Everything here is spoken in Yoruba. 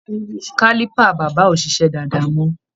Caliper bàbá ò ṣiṣẹ́ dáadáa mọ́.